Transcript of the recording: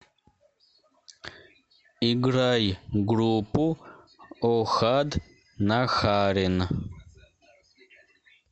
играй группу охад нахарин